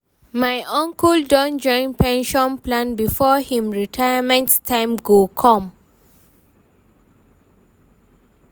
my uncle don join pension plan before him retirement time go come